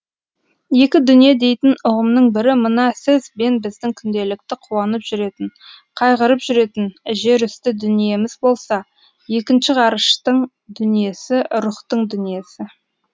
екі дүние дейтін ұғымның бірі мына сіз бен біздің күнделікті қуанып жүретін қайғырып жүретін жерүсті дүниеміз болса екінші ғарыштың дүниесі рухтың дүниесі